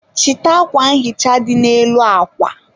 chịta akwa nhicha dị n'elu akwa